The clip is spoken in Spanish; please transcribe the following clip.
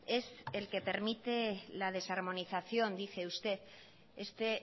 es el que permite la desarmonización dice usted este